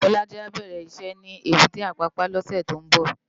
Bolaji á bèrè iṣè ni ébùté Apapa lòsè tó n bò